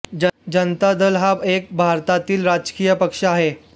जनता दल हा एक भारतातील राजकीय पक्ष आहे